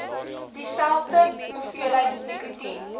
dieselfde hoeveelheid nikotien